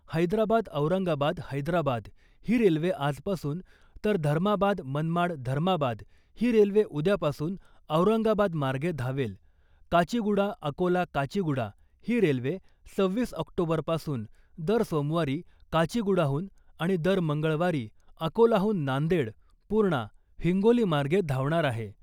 हैदराबाद औरंगाबाद हैदराबाद ही रेल्वे आजपासून तर धर्माबाद मनमाड धर्माबाद ही रेल्वे उद्यापासून औरंगाबादमार्गे धावेल , काचीगुडा अकोला काचीगुडा ही रेल्वे सव्हीस ऑक्टोबर पासून दर सोमवारी काचीगुडाहून आणि दर मंगळवारी अकोलाहून नांदेड , पुर्णा , हिंगोली मार्गे धावणार आहे .